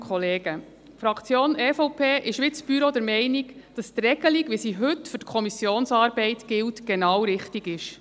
Die Fraktion EVP ist, wie das Büro, der Meinung, dass die Regelung, wie sie heute für die Kommissionsarbeit gilt, genau richtig ist.